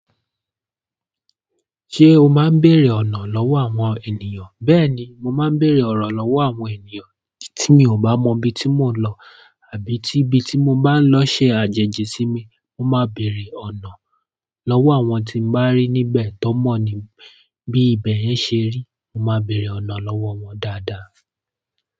Ṣé o máa ń bèrè ọ̀nà lọ́wọ́ àwọn ènìyàn? Bẹ́ẹ̀ni, mo máa ń bèrè ọ̀rọ̀ lọ́wọ́ àwọn ènìyàn tí mi ò bá mọ ibi tí mò ń lọ àbí tí ibi tí mo bá ń lọ ṣe àjèjì sí mi. Mo máa bèrè ọ̀nà lọ́wọ́ àwọn tí n bá rí níbẹ̀ tó mọ̀ ní, bí ibẹ̀ yẹn ṣe rí. Mo máa bèrè ọ̀nà lọ́wọ́ wọn dáadáa.